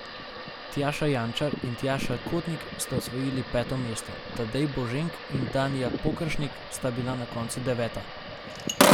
Tjaša Jančar in Tjaša Kotnik sta osvojili peto mesto, Tadej Boženk in Danijel Pokeršnik sta bila na koncu deveta.